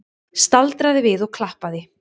Staldraði við og klappaði!